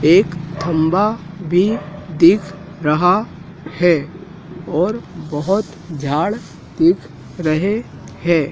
एक खंभा भी दिख रहा है और बहोत झाड़ दिख रहे है।